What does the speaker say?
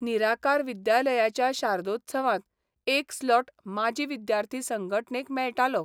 निराकार विद्यालयाच्या शारदोत्सवांत एक स्लॉट माजी विद्यार्थी संघटनेक मेळटालो.